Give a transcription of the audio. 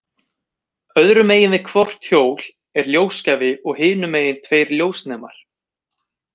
Öðru megin við hvort hjól er ljósgjafi og hinu megin tveir ljósnemar.